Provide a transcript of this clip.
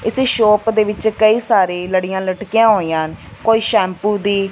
ਇਸ ਸ਼ੋਪ ਦੇ ਵਿੱਚ ਕਈ ਸਾਰੇ ਲੜੀਆਂ ਲਟਕੀਆਂ ਹੋਈਆਂ ਹਨ ਕੋਈ ਸ਼ੈਂਪੂ ਦੀ--